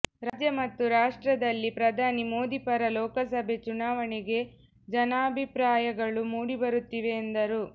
ರಾಜ್ಯ ಮತ್ತು ರಾಷ್ಟ್ರದಲ್ಲಿ ಪ್ರಧಾನಿ ಮೋದಿ ಪರ ಲೋಕಸಭೆ ಚುನಾವಣೆಗೆ ಜನಾಭಿಪ್ರಾಗಳು ಮೂಡಿಬರುತ್ತಿವೆ ಎಂದರು